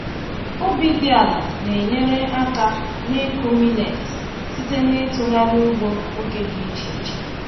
Ubi dị ala na-enyere aka n’ịkụ millet site n’itughari ugbo oge dị iche iche.